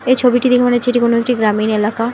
এই ছবিটি দেখে মনে হচ্ছে এটি কোনো একটি গ্রামীণ এলাকা।